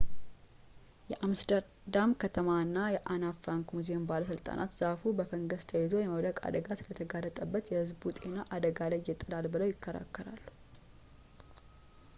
የአምስተርዳም ከተማ እና የአና ፍራንክ ሙዚየም ባለሥልጣናት ዛፉ በፈንገስ ተይዞ የመውደቅ አደጋ ስለተጋረጠበት የህዝብ ጤናን አደጋ ላይ ይጥላሉ ብለው ይከራከራሉ